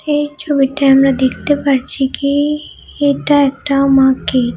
এই ছবিটায় আমরা দেখতে পাচ্ছি কি-ই এটা একটা মার্কে--